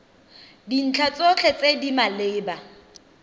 dintlha tsotlhe tse di maleba